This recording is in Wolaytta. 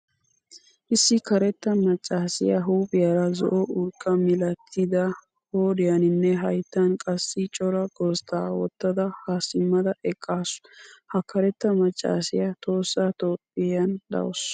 Issi karetta maccaasiyaa huuphphiyaara zo'o urqqa mialttada qoriyaninne hayttan qassi cora gozzsda wottada ha simmada eqqasu. Ha karettaa maccasiya tohossa toophphiyan deawusu.